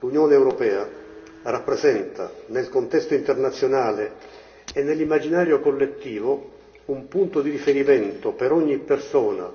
L'Unione europea rappresenta, nel contesto internazionale e nell'immaginario collettivo, un punto di riferimento per ogni persona,